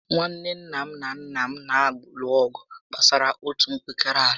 Nwanne nna m na nnà m na alụ ọgụ gbásárá otú mpekere àlà